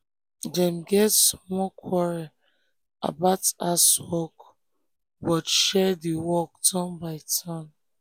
dem get small quarrel about house work but share the work turn by turn.